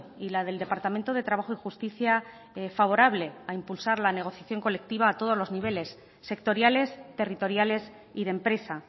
y la del departamento de trabajo y justicia favorable a impulsar la negociación colectiva a todos los niveles sectoriales territoriales y de empresa